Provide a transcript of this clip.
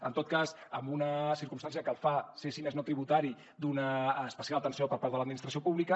en tot cas amb una circumstància que el fa ser si més no tributari d’una especial atenció per part de l’administració pública